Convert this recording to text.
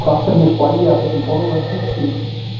Krakkarnir hlæja að þessum orðahnippingum.